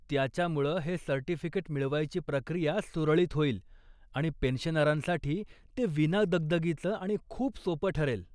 त्याच्यामुळं हे सर्टिफिकेट मिळवायची प्रक्रिया सुरळीत होईल आणि पेन्शनरांसाठी ते विना दगदगीचं आणि खूप सोपं ठरेल.